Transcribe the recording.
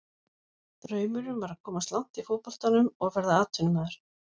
Draumurinn var að komast langt í fótboltanum og verða atvinnumaður.